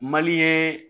ye